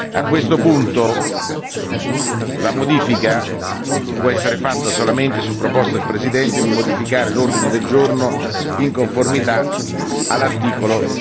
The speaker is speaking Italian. A questo punto la modifica può essere fatto solamente su proposta del Presidente di modificare l'ordine del giorno in conformità all'articolo